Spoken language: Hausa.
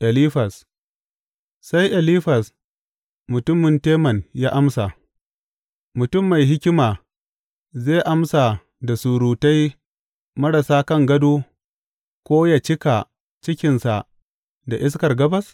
Elifaz Sai Elifaz mutumin Teman ya amsa, Mutum mai hikima zai amsa da surutai marasa kan gado ko yă cika cikinsa da iskar gabas?